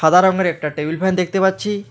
সাদা রঙের একটা টেবিল ফ্যান দেখতে পাচ্ছি।